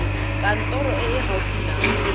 kantorong e e gaufi nao